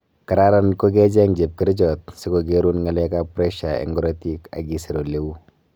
Kararan kokecheng chepkerichot sikokerun ngalekap pressure eng korotik akisir oleu